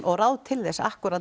og ráð til þess akkúrat